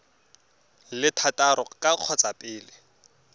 le thataro ka kgotsa pele